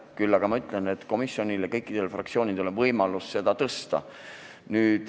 Küll aga ma ütlen, et komisjonil ja kõikidel fraktsioonidel on võimalus seda tõsta.